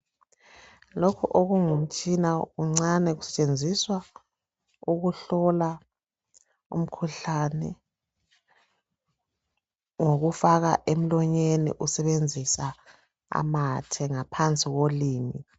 Lokhu okungumtshina kuncane. Kusetshenziswa ukuhlola umkhuhlane, ngokufaka emlonyeni. Usebenzisa amathe ngaphansi kolimi.